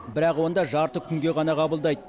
бірақ онда жарты күнге ғана қабылдайды